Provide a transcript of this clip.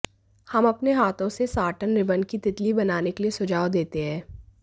हम अपने हाथों से साटन रिबन की तितली बनाने के लिए सुझाव देते हैं